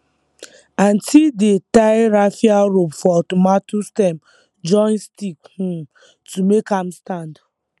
aunty dey tie raffia rope for tomato stem join stick um to make am stand